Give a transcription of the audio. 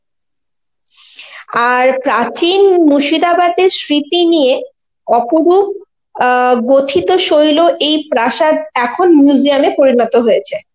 আর প্রাচীন মুর্শিদাবাদের স্মৃতি নিয়ে অপরূপ অ্যাঁ গঠিতশৈল এই প্রাসাদ এখন museum এ পরিণত হয়েছে.